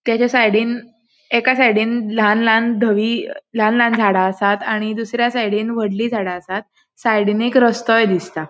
त्याज्या सायडींन एका सायडींन लान लान दवी लान लान झाडा आसात आणि दुसर्या सायडींन वोडली झाडा आसात सायडींन एक रस्तोय दिसता.